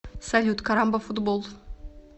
салют карамбафутбол